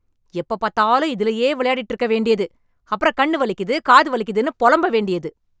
எப்போப் பார்த்தாலும் இதுலேயே விளையாடிட்டு இருக்க வேண்டியது. அப்புறம் கண்ணு வலிக்குது, காது வலிக்குதுன்னு புலம்ப வேண்டியது!